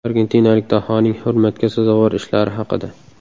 Argentinalik dahoning hurmatga sazovor ishlari haqida.